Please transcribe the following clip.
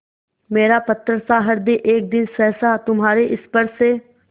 मेरा पत्थरसा हृदय एक दिन सहसा तुम्हारे स्पर्श से